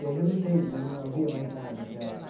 E aí já não tem não não havia mais nada que a.